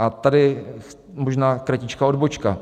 A tady možná kratičká odbočka.